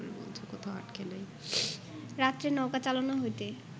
রাত্রে নৌকা চালনা হইতে